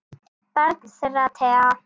Barn þeirra Thea.